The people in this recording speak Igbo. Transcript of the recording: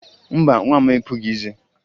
Mba, nwa m epughi eze